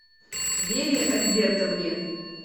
вере альбертовне